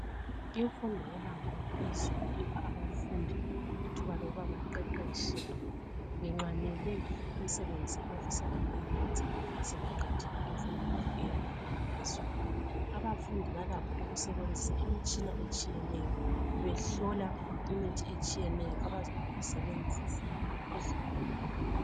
Imfundo yebanga eliphezulu ipha abafundi ithuba lokuba baqeqetshe benxwanele imisebenzi abafisa ukuyiyenza sebeqedile imfundo yabo eyebanga eliphezulu. Abafundi balakho ukusebenzisa imitshina etshiyeneyo behlola imithi etshiyeneyo abazayisebenzisa kuzigulane.